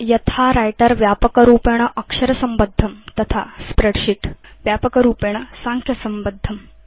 यथा व्रिटर व्यापकरूपेण अक्षरसम्बद्धं तथा स्प्रेडशीट् व्यापकरूपेण साङ्ख्यसम्बद्धम्